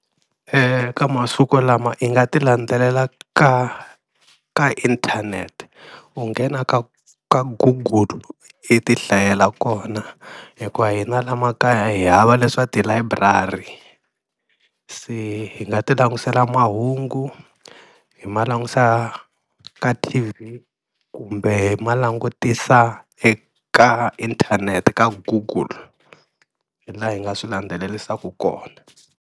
ka masiku lama i nga ti landzelela ka ka inthanete, u nghena ka ka google i ti hlayela kona hikuva hina la makaya hi hava leswa tilayiburari se hi nga ti langutisela mahungu, hi ma langusa ka T_V kumbe ma langutisa eka inthanete ka google, hi laha hi nga swi landzelerisaka kona.